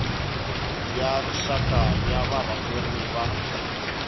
ya rixaka ya varhangeri va